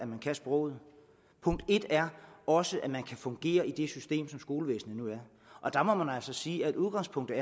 kan sproget punkt en er også at man kan fungere i et system som skolevæsenet og der må man altså sige at udgangspunktet